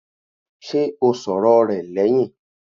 Ṣé o sọ̀rọ̀ rẹ̀ lẹ́hìn?